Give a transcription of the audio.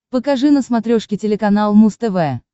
покажи на смотрешке телеканал муз тв